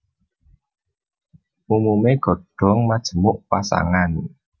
Umumé godhong majemuk pasangan